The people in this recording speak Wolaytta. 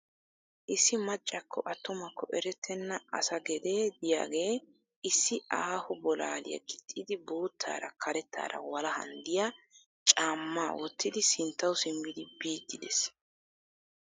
Issi maccakko attumakko erettenna asa gedee diyagee issi aaho bolaaliya gixxidi boottaara karettaara walahan diya caamma wottidi sinttawu simmidi biiddi des.